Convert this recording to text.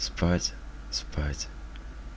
спать спать